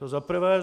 To za prvé.